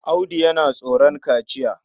Audu yana tsoron kaciya.